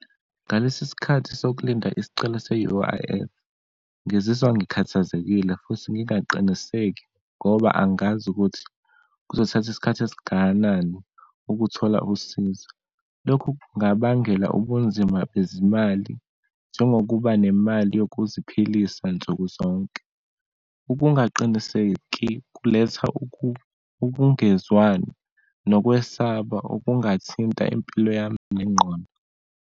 Ngalesi sikhathi sokulinda isicelo se-U_I_F, ngizizwa ngikhathazekile futhi ngingaqiniseki ngoba angazi ukuthi kuzothatha isikhathi esingakanani ukuthola usizo. Lokhu kungabangela ubunzima bezimali, njengokuba nemali yokuziphilisa nsukuzonke. Ubungaqiniseki kuletha ubungezwani nokwesaba obungathinta impilo yami nengqondo.